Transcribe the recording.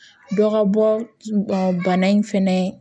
Dɔ ka bɔ bana in fɛnɛ